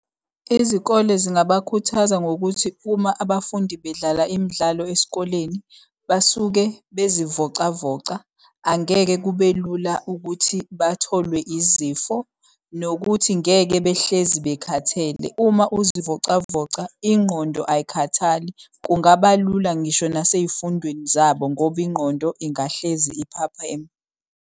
Izikole zingabakhuthaza ngokuthi uma abafundi bedlala imidlalo esikoleni basuke bezivocavoca, angeke kube lula ukuthi batholwe izifo. Nokuthi ngeke behlezi bekhathele. Uma uzivocavoca ingqondo ayikhathali, kungaba lula ngisho nase y'fundweni zabo ngoba ingqondo ingahlezi iphapheme.